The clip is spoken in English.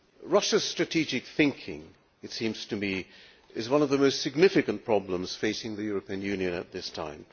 Russia's strategic thinking, it seems to me, is one of the most significant problems facing the European Union at this time.